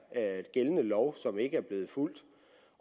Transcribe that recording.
gældende lov som ikke er blevet fulgt